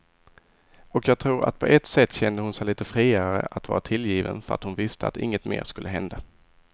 Och jag tror att på ett sätt kände hon sig lite friare att vara tillgiven för att hon visste att inget mer skulle hända.